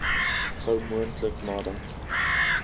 gou moontlik nadat